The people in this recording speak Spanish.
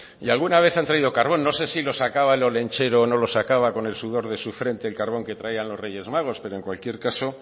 y alguna vez han traído carbón no sé si lo sacaba el olentzero o no lo sacaba con el sudor de su frente el carbón que traían los reyes magos pero en cualquier caso